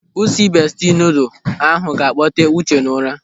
Usi bestie noodle ahụ ga-akpote Uche n'ụra.